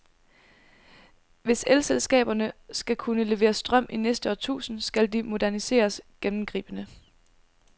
Hvis elselskaberne skal kunne levere strøm i næste årtusind, skal de moderniseres gennemgribende.